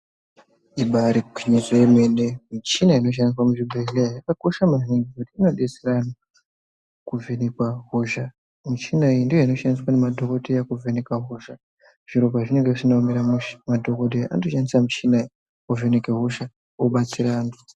Ibari gwinyiso yemene michina inoshandiswe muzvibhedhleya yakakosha maningi ngekuti inodetsera antu kuvhenekwa hosha muchina iyi ndoinoshandiswa nemadhokodheya kuvheneka hosha zviro pazvinenge zvisina kumira mushe madhokodheya anotoshandiae muchina iyi ovheneke hosha obatsire antu